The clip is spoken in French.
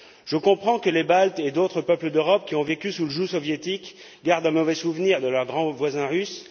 Je comprends que les Baltes, et d'autres peuples d'Europe qui ont vécu sous le joug soviétique, gardent un mauvais souvenir de leur grand voisin russe.